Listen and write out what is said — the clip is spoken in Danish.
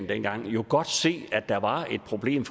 dengang jo godt se at der var et problem